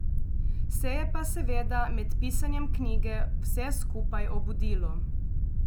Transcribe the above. Se je pa seveda med pisanjem knjige vse skupaj obudilo.